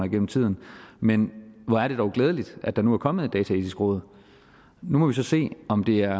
igennem tiden men hvor er det dog glædeligt at der nu er kommet et dataetisk råd nu må vi så se om det er